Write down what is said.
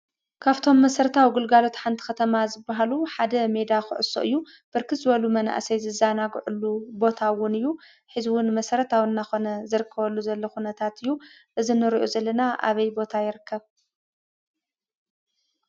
ካብቶም መሰረታዊ ግልጋሎት ሓንቲ ከተማ ዝበሃሉ ሓደ ሜዳ ኩዕሶ እዩ። ብርክት ዝበሉ መናእሰይ ዝዘናግዓሉ ቦታ ውን ሕዚ ውን መሰረታዊ እናኾነ ዝርከበሉ ዘሎ ኩነታት እዩ። እዚ ንሪኦ ዘለና ኣበይ ቦታ ይርከብ?